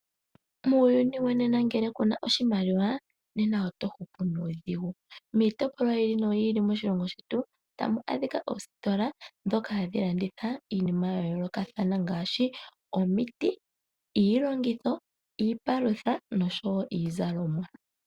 Muyuni wonena ngele kuna oshimaliwa nena oto hupu nuudhigu. Miitopolwa yi ili noyi ili moshilongo shetu otamu adhika oositola dhoka hadhi landitha iinima ya yoolokathana ngaashi omiiti, iilongitho iipalutha nosho wo iizalomwa.